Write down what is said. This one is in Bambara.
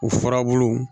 U furabulu